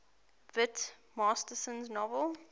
whit masterson's novel